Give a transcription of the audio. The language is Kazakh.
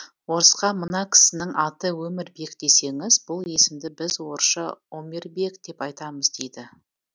орысқа мына кісінің аты өмірбек десеңіз бұл есімді біз орысша омирбек деп айтамыз дейді